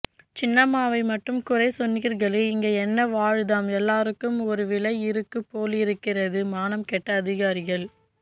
சின்னம்மாவை மட்டும் குறைசொன்னீங்களே இங்கே என்ன வாழுதாம் எல்லாருக்கும் ஒரு விலை இருக்கு போலிருக்கிறது மானம் கெட்ட அதிகாரிகள்